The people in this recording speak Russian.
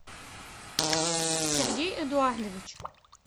сергей эдуардович